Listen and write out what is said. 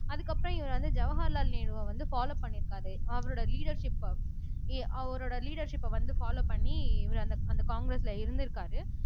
அதுக்கப்புறம் இவர் வந்து ஜவஹர்லால் நேருவை வந்து ஃபலோவ் பண்ணியிருக்காரு அவரோட லீடெர்ஷிப்ப அவரோட லீடெர்ஷிப்ப வந்து ஃபலோவ் பண்ணி இவர் அந்த அந்த காங்கிரஸ்ல இருந்திருக்காரு